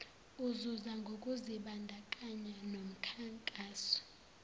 uzuza ngokuzibandakanya nomkhankaso